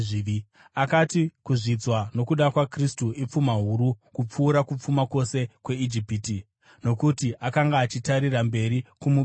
Akati kuzvidzwa nokuda kwaKristu ipfuma huru kupfuura kupfuma kwose kweIjipiti, nokuti akanga achitarira mberi kumubayiro.